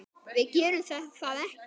Við gerðum það ekki.